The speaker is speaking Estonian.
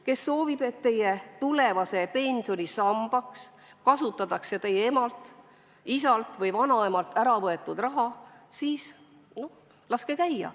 Kes soovib, et teie tulevase pensioni samba kasvatamiseks kasutatakse teie emalt, isalt või vanaemalt ära võetud raha, siis laske käia.